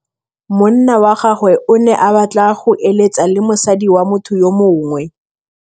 Monna wa gagwe o ne a batla go êlêtsa le mosadi wa motho yo mongwe.